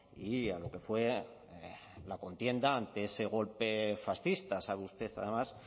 y a lo que fue la contienda ante ese golpe fascista sabe usted además